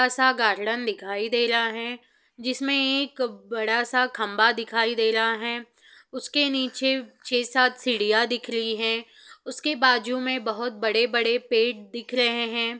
ऐसा गार्डन दिखाई दे रहा है जिसमे एक बड़ा सा खम्बा दिखाई दे रहा है उसके नीचे छह सात सीढ़िया दिख रही है उसके बाजू में बहुत बड़े-बड़े पेड़ दिख रहे है।